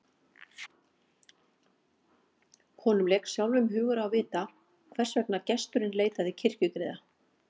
Honum lék sjálfum hugur á að vita hvers vegna gesturinn leitaði kirkjugriða.